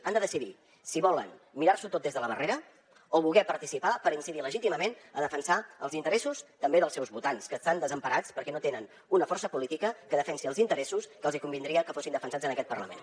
han de decidir si volen mirars’ho tot des de la barrera o si volen participar per incidir legítimament a defensar els interessos també dels seus votants que estan desemparats perquè no tenen una força política que defensi els interessos que els hi convindria que fossin defensats en aquest parlament